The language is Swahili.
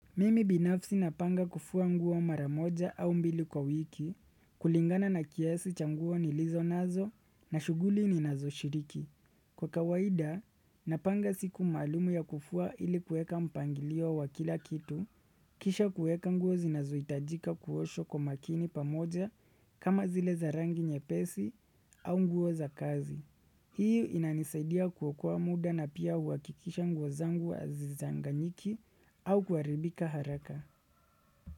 Mimi binafsi napanga kufua nguo maramoja au mbili kwa wiki, kulingana na kiasi cha nguo nilizo nazo na shuguli ni nazo shiriki. Kwa kawaida, napanga siku maalumu ya kufua ili kueka mpangilio wa kila kitu, kisha kueka nguo zinazo hitajika kuoshwa kwa makini pamoja kama zile za rangi nyepesi au nguo za kazi. Hiyo inanisaidia kuokoa muda na pia uwakikisha nguo zangu hazizanganyiki au kuharibika haraka.